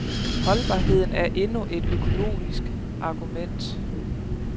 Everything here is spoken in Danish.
Holdbarheden er endnu et økologisk argument.